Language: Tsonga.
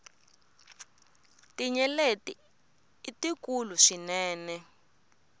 tinyeleti i tikulu swinene